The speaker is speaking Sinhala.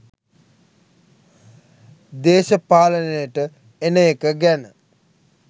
දේශපාලනයට එන එක ගැන